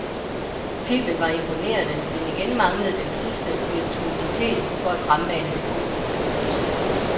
Filmen var imponerende, men igen manglede den sidste virtuositet for at fremmane det gotiske gys.